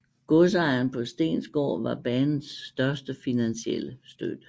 Godsejeren på Steensgaard var banens største finansielle støtte